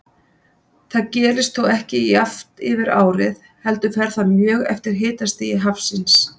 Það gerist þó ekki jafnt yfir árið heldur fer það mjög eftir hitastigi hafsins.